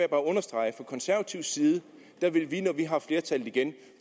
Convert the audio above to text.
understrege at fra konservativ side vil vi når vi har flertallet igen